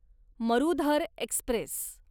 Marudhar Express